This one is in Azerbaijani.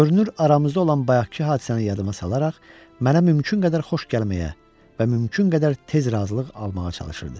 Görünür, aramızda olan bayaqkı hadisəni yadıma salaraq mənə mümkün qədər xoş gəlməyə və mümkün qədər tez razılıq almağa çalışırdı.